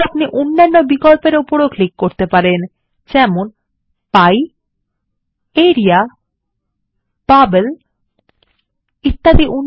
একইভাবে আপনি অন্যান্য বিকল্প উপর ক্লিক করতে পারেন যেমন পাই ল্টপাউসেগ্ট আরিয়া ল্টপাউসেগ্ট বাবল ল্টপাউসেগ্ট পাউসেগ্ট